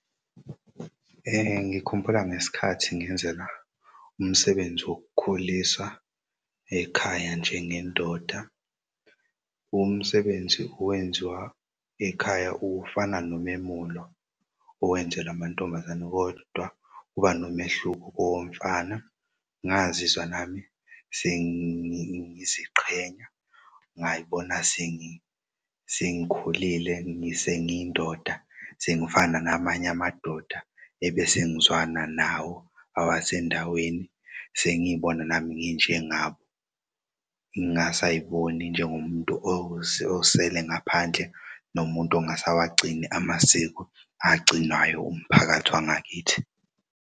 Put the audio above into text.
Ngikhumbula ngesikhathi ngenzela umsebenzi wokukhuliswa ekhaya njengendoda. Umsebenzi owenziwa ekhaya ufana nomemulo owenzelwa amantombazane kodwa kuba nomehluko owomfana. Ngazizwa nami sengiziqhenya, ngayibona sengikhulile sengiy'ndoda sengifana namanye amadoda ebese ngizwana nawo awasendaweni sengiyibona nami nginjengabo ngasayiboni njengomuntu osele ngaphandle nomuntu ongasawagcini amasiko agcinwayo umphakathi wangakithi.